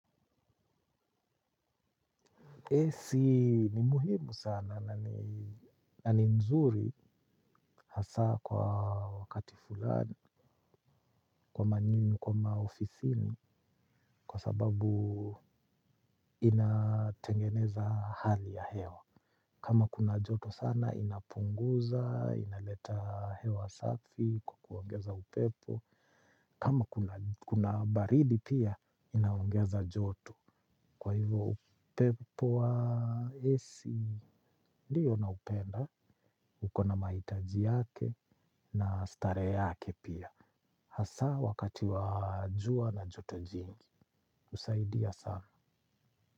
AC ni muhimu sana, na ni nzuri hasaa kwa wakati fulani, kwa manyuni, kwa maofisini, kwa sababu inatengeneza hali ya hewa. Kama kuna joto sana, inapunguza, inaleta hewa safi, kwa kuongeza upepo. Kama kuna baridi pia, inaongeza joto. Kwa hivyo upepo wa AC ndiyo naupenda, uko na mahitaji yake na starehe yake pia. Hasa wakati wa jua na joto jingi. Husaidia sana.